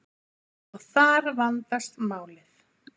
og þar vandast málið